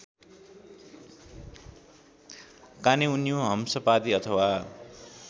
कानेउन्यु हंसपादी अथवा